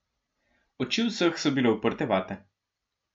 Oči vseh so bile uprte vate.